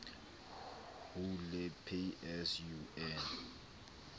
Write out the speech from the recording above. hule pay as you earn